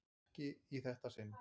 Ekki í þetta sinn.